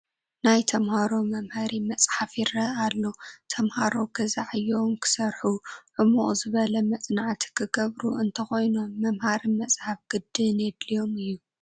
ናይ ተመሃሮ መምሃሪ መፅሓፍ ይርአ ኣሎ፡፡ ተመሃሮ ገዛ ዕዮኦም ክሰርሑ፣ ዕሙቕ ዝበለ መፅናዕቲ ክገብሩ እንተኾይኖም መምሃሪ መፅሓፍ ግድን የድልዮም እዩ፡፡